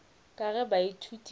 ka ge baithuti ba sa